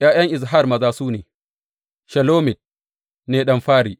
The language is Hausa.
’Ya’yan Izhar maza su ne, Shelomit ne ɗan fari.